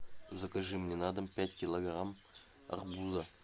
закажи мне на дом пять килограмм арбуза